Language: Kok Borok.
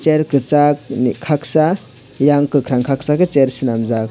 chair kosag kaksa ayang kokarang kaksa ke chair selamjak.